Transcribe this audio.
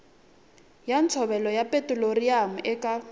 ya ntshovelo ya petiroliyamu eka